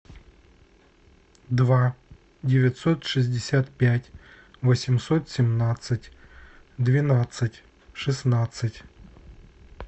два девятьсот шестьдесят пять восемьсот семнадцать двенадцать шестнадцать